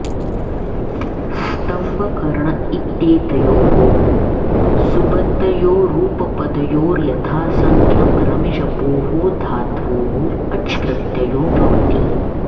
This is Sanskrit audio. स्तम्ब कर्ण इत्येतयोः सुबन्तयोरुपपदयोर् यथासङ्ख्यं रमिजपोः धात्वोः अच्प्रत्ययो भवति